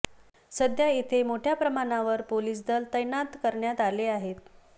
सध्या येथे मोठ्या प्रमाणावर पोलीस दल तैनात करण्यात आले आहे